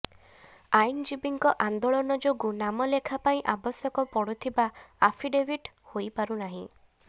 ଆଇନ୍ଜୀବୀଙ୍କ ଆନ୍ଦୋଳନ ଯୋଗୁଁ ନାମଲେଖା ପାଇଁ ଆବଶ୍ୟକ ପଡୁଥିବା ଆଫିଡେଭିଟ୍ ହୋଇପାରୁ ନାହିଁ